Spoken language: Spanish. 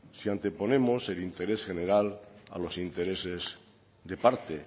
si anteponemos el interés general a los intereses de parte